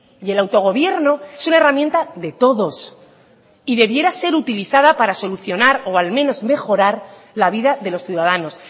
y el autogobierno es una herramienta de todos y debiera ser utilizada para solucionar o al menos mejorar la vida de los ciudadanos